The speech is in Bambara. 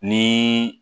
Ni